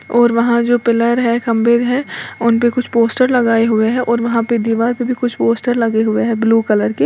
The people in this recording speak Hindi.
और वहाँ जो पिल्लर है खंभे है उन पे कुछ पोस्टर लगाए हुए है और वहाँ पे दीवार पे भी कुछ पोस्टर लगे हुए हैं ब्लू कलर के।